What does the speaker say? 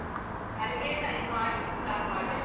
ಅಡುಗೆ ಇಲ್ಲ ಇನ್ನ್ ಮಾಡ್ಬೇಕ್, start ಮಾಡ್ಬೇಕು.